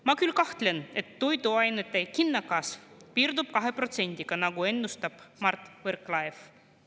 Ma küll kahtlen, et toiduainete hinnakasv piirdub 2%-ga, nagu ennustab Mart Võrklaev.